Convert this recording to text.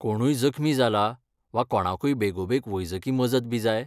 कोणूय जखमी जाला वा कोणाकूय बेगोबेग वैजकी मजतबी जाय?